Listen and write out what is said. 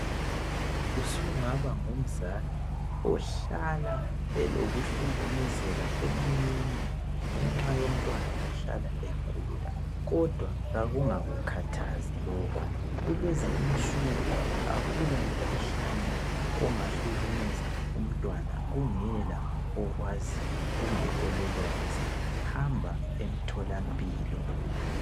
Usungaba ngumzali ohlala elokuhlukumezeka emoyeni ngenxa yomntwana ohlala egula, kodwa kakungakukhathazi lokho. Kulezi insuku akula mkhuhlane ongahlukumeza umntwana kungela okwaziyo kumbe ololwazi, hamba emtholampilo.